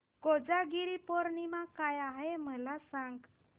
कोजागिरी पौर्णिमा काय आहे मला सांग